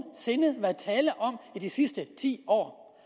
sinde været tale om i de sidste ti år